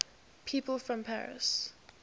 people from paris